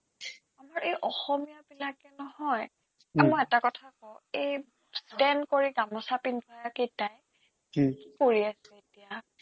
আমাৰ এই অসমীয়াবিলাকে নহয় এ মই এটা কথা কও এই stand কৰি গামোচা পিন্ধা কেইটাই কি কৰি আছে এতিয়া